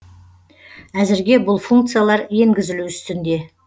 әзірге бұл функциялар енгізілу үстінде